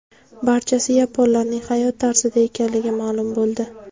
Barchasi yaponlarning hayot tarzida ekanligi ma’lum bo‘ldi.